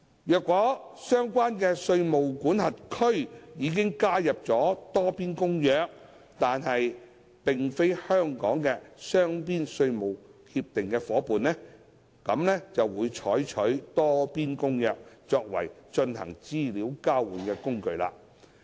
若相關的稅務管轄區已加入《多邊公約》但並非香港的雙邊稅務協定夥伴，便會採用《多邊公約》作為進行資料交換的工具。